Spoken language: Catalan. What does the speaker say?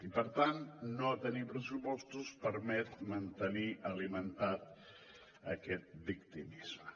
i per tant no tenir pressupostos permet mantenir alimentat aquest victimisme